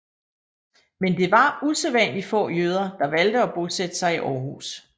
Men det var usædvanlig få jøder der valgte at bosætte sig i Århus